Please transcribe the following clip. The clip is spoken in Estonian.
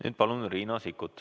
Nüüd palun Riina Sikkuti.